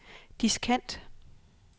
diskant